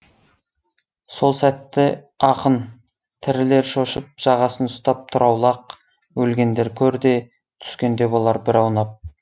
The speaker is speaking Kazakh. сол сәтті ақын тірілер шошып жағасын ұстап тұр аулақ өлгендер көрде түскенде болар бір аунап